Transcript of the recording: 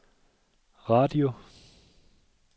radio